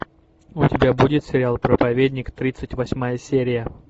у тебя будет сериал проповедник тридцать восьмая серия